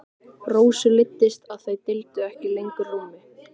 Rósu leiddist að þau deildu ekki lengur rúmi.